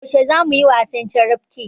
Yaushe zamuyi wasan carabke?